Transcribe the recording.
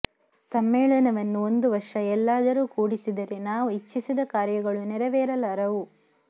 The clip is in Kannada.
ಸಮ್ಮೇಳನವನ್ನು ಒಂದು ವರ್ಷ ಎಲ್ಲಾದರೂ ಕೂಡಿಸಿದರೆ ನಾವು ಇಚ್ಛಿಸಿದ ಕಾರ್ಯಗಳು ನೆರವೇರಲಾರವು